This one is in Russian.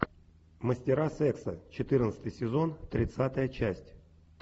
мастера секса четырнадцатый сезон тридцатая часть